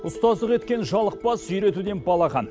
ұстаздық еткен жалықпас үйретуден балаға